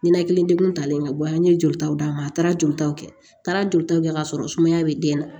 Ninakili degun talen ka bɔ yan n ye joli taw d'a ma a taara jolitaw kɛ a taara joli taw kɛ ka sɔrɔ sumaya bɛ den na